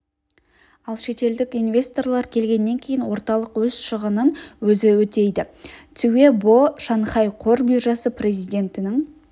ал шетелдік инвесторлар келгеннен кейін орталық өз шығынын өзі өтейді цюэ бо шанхай қор биржасы президентінің